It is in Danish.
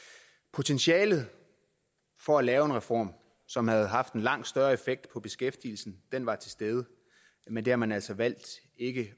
potentialet for at lave en reform som havde haft en langt større effekt på beskæftigelsen var til stede men det har man altså valgt ikke